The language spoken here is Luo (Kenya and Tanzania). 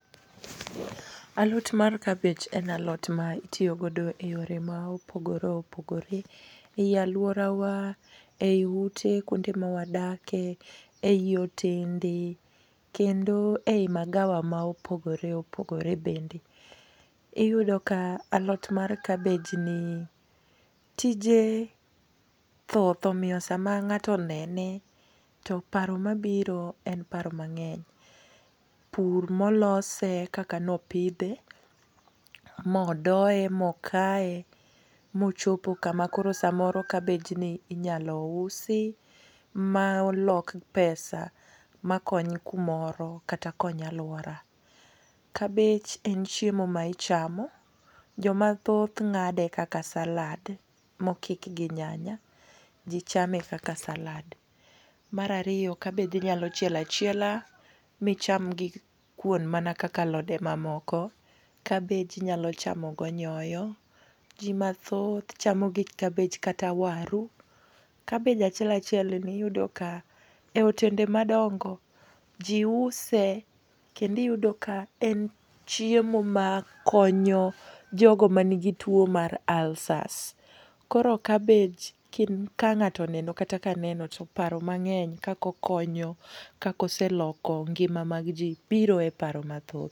Alot mar kabich en alot ma itiyo godo e yore ma opogore opogore, ei alworawa, ei ute kuonde ma wadake, ei hotende, kendo ei magawa ma opogore opogore bende. Iyudo ka alot ma kabej ni tije thoth. Omiyo sama ng'ato onene to paro mabiro en paro mang'eny. Pur molose, kaka ne opidhe, modoye, mokaye, mochopo kama koro samoro kabich ni inyalo usi ma lok pesa ma kony kumoro kata kony alwora. Kabej en chiemo ma ichamo. Jomathoth ng'ade kaka salad ma okik gi nyanya. Ji chame, kaka salad. Mar ariyo be kabich inyalo chielo achiela micham gi kuon mana kaka alode mamoko. Kabej inyalo chamo go nyoyo. Ji mathoth chamo gi kabich kata waru. Kabej achiel achiel ni iyudo ka e hotende madongo, ji use kendo iyudo ka en chiemo ma konyo jogo manigi two mar ulcers. Koro kabej, kang'ato oneno kata ka aneno to paro mang'eng' kaka okonyo, kaka oseloko ngima mag ji biro e paro mathoth.